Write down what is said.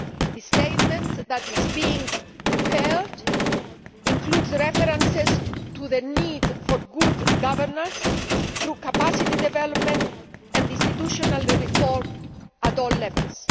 The statement that is being prepared includes references to the need for good governance through capacity development and institutional reform at all levels.